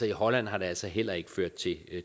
i holland har det altså heller ikke ført til